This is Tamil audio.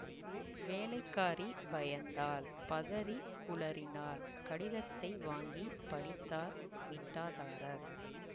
வேலைக்காரி பயந்தாள் பதறிக் குளறினாள் கடிதத்தை வாங்கிப் படித்தார் மிட்டாதாரர்